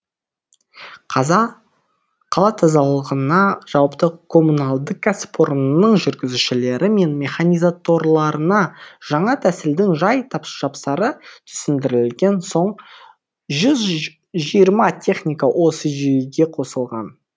қала тазалығына жауапты коммуналдық кәсіпорынның жүргізушілері мен механизаторларына жаңа тәсілдің жай жапсары түсіндірілген соң жүз жиырма техника осы жүйеге қосылған